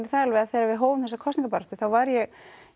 það alveg að þegar við hófum þessa baráttu var ég